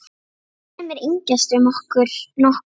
Sumir yngjast um nokkur ár.